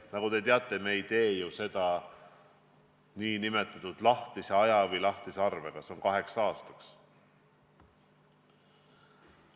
Nagu te teate, ei tee me seda ju nn lahtise aja või lahtise arvega – see on kaheks aastaks.